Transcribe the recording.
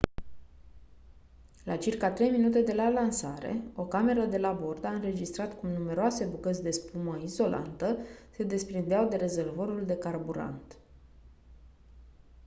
la circa 3 minute de la lansare o cameră de la bord a înregistrat cum numeroase bucăți de spumă izolantă se desprindeau de rezervorul de carburant